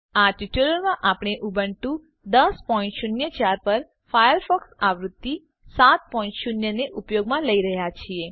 આ ટ્યુટોરીયલમાં આપણે ઉબુન્ટુ 1004 પર ફાયરફોક્સ આવૃત્તિ 70 ને ઉપયોગમાં લઇ રહ્યા છીએ